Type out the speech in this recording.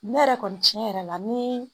Ne yɛrɛ kɔni tiɲɛ yɛrɛ la ni